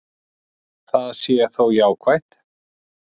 Það sé þó jákvætt.